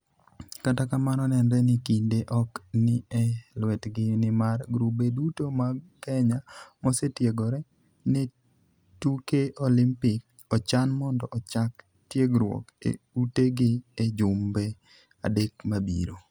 Kata kamano, nenre ni kinde ok ni e lwetgi nimar grube duto mag Kenya mosetiegore ne tuke Olimpik ochan mondo ochak tiegruok e utegi e jumbe adek mabiro.